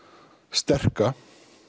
sterka